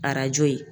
Arajo ye